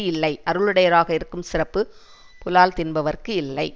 இல்லை அருளுடையவராக இருக்கும் சிறப்பு புலால் தின்பவர்க்கு இல்லை